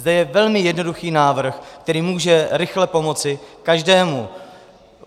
Zde je velmi jednoduchý návrh, který může rychle pomoci každému.